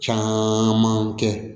Caman kɛ